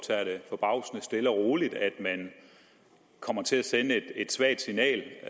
tager det forbavsende stille og roligt at man kommer til at sende et svagt signal